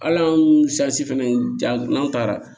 Hal'an fɛnɛ jan n'an taara